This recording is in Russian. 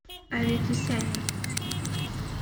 аветисяне